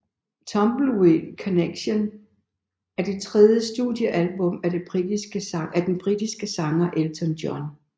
Tumbleweed Connection er det tredje studiealbum af den britiske sanger Elton John